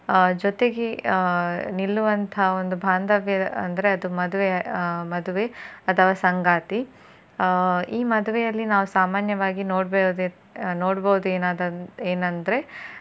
ಆ ಜೊತೆಗೆ ಆ ನಿಲ್ಲುವಂತಹ ಒಂದು ಬಾಂಧವ್ಯ ಅಂದ್ರೆ ಅದು ಮದುವೆ ಆ ಮದುವೆ ಅಥವಾ ಸಂಗಾತಿ. ಆ ಈ ಮದುವೆಯಲ್ಲಿ ನಾವು ಸಾಮಾನ್ಯವಾಗಿ ನೋಡಬಹುದ್~ ನೋಡಬಹುದು ಏನ~ ಏನಂದ್ರೆ